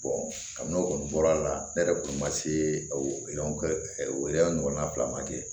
n'o kɔni bɔra a la ne yɛrɛ kun ma se o oroya ɲɔgɔnna fila ma kɛ